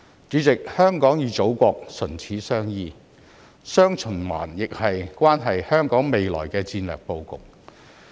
主席，香港與祖國唇齒相依，"雙循環"亦關乎香港未來的戰略布局。